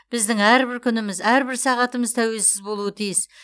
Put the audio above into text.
біздің әрбір күніміз әрбір сағатымыз тәуелсіз болуы тиіс